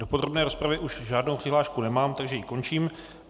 Do podrobné rozpravy už žádnou přihlášku nemám, takže ji končím.